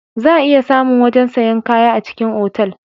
Za a iya samu wajen sayan kaya a cikin otal